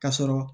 Ka sɔrɔ